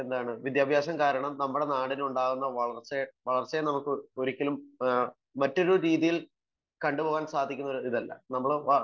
വിദ്യാഭ്യാസം കാരണം നമ്മുടെ നാടിനുണ്ടാവുന്ന വളർച്ചയെ ഒരിക്കലും നമുക്ക് ഒരു മറ്റൊരു രീതിയിൽ കണ്ടുപോവാൻ സാധിക്കുന്ന ഒരിതല്ല